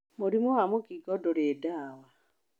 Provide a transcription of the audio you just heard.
Mũrimũ wa mũkingo ndũrĩ ndawa.